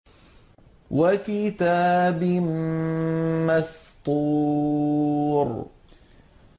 وَكِتَابٍ مَّسْطُورٍ